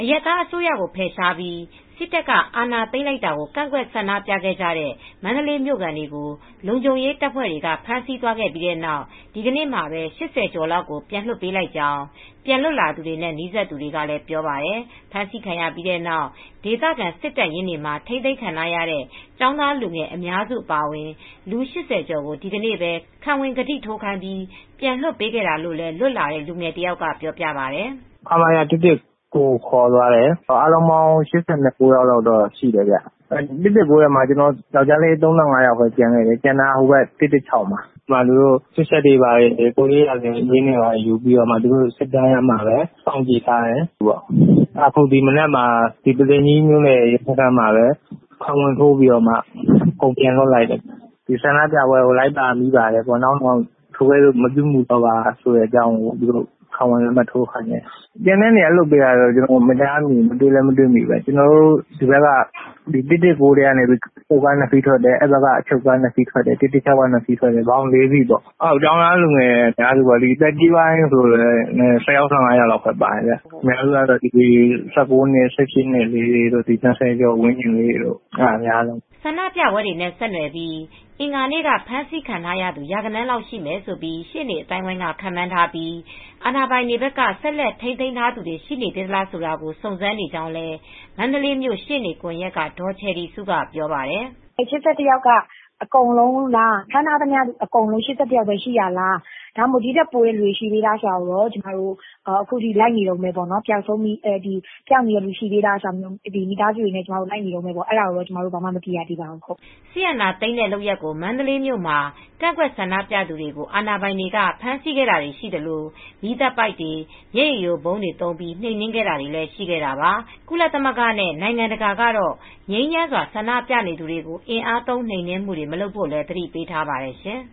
ရပ်သားအစိုးရကို ဖယ်ရှားပြီး စစ်တပ်က အာဏာသိမ်းလိုက်တာကို ကန့်ကွက်ဆန္ဒပြခဲ့ကြတဲ့ မန္တလေးမြို့ခံတွေကို လုံခြုံရေးတပ်ဖွဲ့တွေ ဖမ်းဆီးသွားခဲ့ပြီးနောက် ဒီနေ့မှာပဲ ၈၀ ကျော်လောက်ကို ပြန်လွှတ်ပေးလိုက်ကြောင်း ပြန်လွတ်လာသူတွေနဲ့ နီးစပ်သူတွေက ပြောပါတယ်။ ဖမ်းဆီးခံရပြီးနောက် ဒေသခံ စစ်တပ်ရင်းတွေမှာ ထိန်းသိမ်းခံခဲ့ရတဲ့ ကျောင်းသားလူငယ် အများစု အပါအဝင် လူ ၈၀ ကျော်ကို ဒီကနေ့ပဲ ခံဝန်ကတိထိုးခိုင်းပြီး ပြန်လွှတ်ပေးခဲ့တာလို့လည်း လွတ်လာတဲ့ လူငယ်တယောက်က ပြောပါတယ်။ “ခမရ ၁၁၉ကိုခေါ်သွားတယ် အားလုံးပေါင်း ၈၉ယောက်ရှိတယ် ခမရ၁၁၉မှာတော့ ယောက်ကျားလေး ၃၅ ယောက်ရှိတယ် ကျန်တာ ခမရ၁၁၆ကိုခေါ်သွားတယ် စစ်ချက်တွေ ကိုယ်ရေးရာဇဝင်တွေယူပြီး စောင့်ကြည့်ထားတယ် အခုဒီမနက် ပုသိမ်ကြီးမြိုနယ် ရဲစခန်းမှာ ခံဝန်ထိုးခိုင်းပြီး အကုန် ပြန်လွှတ်ပေးလိုက်တယ် ဒီဆန္ဒပြပွဲကလိုက်ပါမိပါတယ် နောင်ထိုကဲ့သို့မပြုလုပ်တော့ပါဆိုပြီးခံဝန်ထိုးခိုင်းတယ် ကျန်တဲ့နေရာလွှတ်ပေးတာတော့ကျနော်တို့မကြားမိဘူး ကျနော်တို့မသိဘူး ၁၁၉ ထဲက အချုပ်ကား ၂စီးထွက်တယ် ၁၁၆ ထဲက နှစ်စီးထွက်အားလုံးအချုပ်ကား ၄ဦးထွက်တယ် ကျောင်းသားလူငယ်တွေကအများစုပါ သက်ကြီး ပိုင်းက ၁၀ ယောက် ၁၅ ယောက်ပဲပါတယ် အများစုက ၁၉ နှစ်ဝန်းကျင် ၁၈ နှစ်တွေပဲ ၂၀ ဝန်ကျင်းလေးတွေပါ” ဆန္ဒပြပွဲတွေနဲ့ ဆက်နွယ်ပြီး အင်္ဂါနေ့က ဖမ်းဆီးခံရသူူ ရာဂဏန်းလောက်ရှိမယ်လို့ ရှေ့နေအသိုင်းအဝိုင်းက ခန့်မှန်းထားပြီး အာဏာပိုင်တွေ ဆက်လက် ထိန်းသိမ်းထားသူတွေ ရှိနေသေးလားဆိုတာကို စုံစမ်းနေကြောင်းလည်း မန္တလေးမြို ရှေနေ့ကွန်ယက်က ဒေါ်ချယ်ရီစုက ပြောပါတယ်။ “၈၁ ယောက်အကုန်လုံးလား ဖမ်းထားတဲ့သူအားလုံးက ၈၁ ယောက်ပဲရှိတာလား ဒီထက် ပိုရှိသလားဆိုတာ လိုက်နေတုန်းပဲ ပျောက်ဆုံးသူတွေရှိနေသေးလားဆိုတာ ကျမတို့မိသားစုလိုက်နေတုန်းပါပဲ အခြေအနေတွေတော့ မသိရသေးပါဘူး” စစ်တပ်အာဏာသိမ်းတဲ့ လုပ်ရပ်ကို မန္တလေးမြို့မှာ ကန့်ကွက်ဆန္ဒပြသူတွေကို အာဏာပိုင်တွေ ဖမ်းဆီးတာတွေရှိခဲ့သလို မီးသတ်ပိုက်တွေ၊ မျက်ရည်ယိုဗုံးတွေသုံး နှိမ်နင်းမှုတွလည်း ရှိခဲ့တာပါ။ ကုလသမဂ္ဂနဲ့ နိုင်ငံတကာကတော့ ငြိမ်းချမ်းစွာ ဆန္ဒပြသူတွေကို အင်အားသုံး နှိမ်နင်းမှုတွေ မလုပ်ဖို့လည်း သတိပေးထားပါတယ်ရှင်